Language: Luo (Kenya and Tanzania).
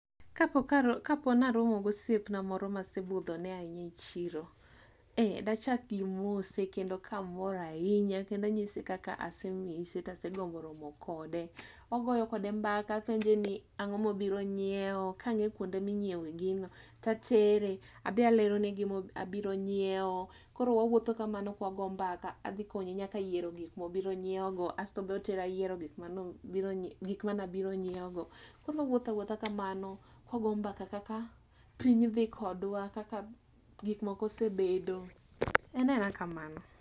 Kapo karo kapo naromogosiepna moro mase budhone ahinya e chiro. Eh, dachak gi mose kamor ahinya kendo anyise kaka asemise tasegombo romo kode. Wagoyo kode mbaka apenje ni ang'o mobiro nyiewo kang'e kuonde minyiewe gino tatere, abe alerone gimo abiro nyiewo. Koro wawuotho kamano kwago mbaka. Adhi konye nyaka yiero gik mano gik manabiro nyiewogo. Koro wawuothawuotha kamano kwago mbaka kaka piny dhi kodwa, kaka gik moko osebedo. En aena kamano.